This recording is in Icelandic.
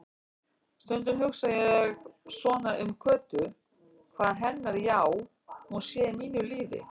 Stundum hugsa ég svona um Kötu, hvað hennar já-hún sé í mínu lífi.